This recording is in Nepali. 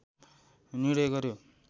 निर्णय गर्‍यो